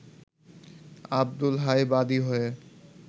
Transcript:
আব্দুল হাই বাদী হয়ে